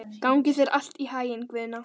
Gangi þér allt í haginn, Guðna.